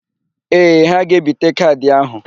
Ee, ha ga-ebite kaadị áhụ̀.